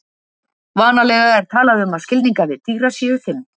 Vanalega er talað um að skilningarvit dýra séu fimm.